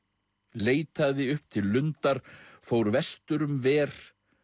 leitaði upp til lundar fór vestur um ver